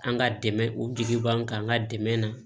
An ka dɛmɛ o di b'an kan an ka dɛmɛ na